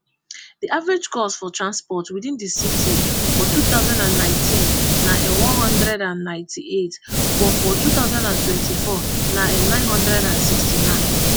di average cost for transport within di city for two thousand and nineteen na n one hundred and ninety-eight but for two thousand and twenty-four na nnine hundred and sixty-nine